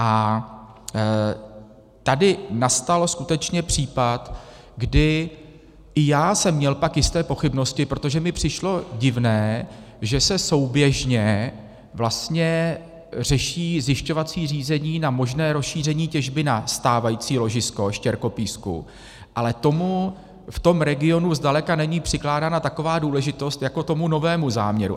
A tady nastal skutečně případ, kdy i já jsem měl pak jisté pochybnosti, protože mi přišlo divné, že se souběžně vlastně řeší zjišťovací řízení na možné rozšíření těžby na stávající ložisko štěrkopísku, ale tomu v tom regionu zdaleka není přikládána taková důležitost jako tomu nového záměru.